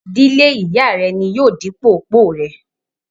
dílé Ìyá rẹ ni yóò di òpó rẹ.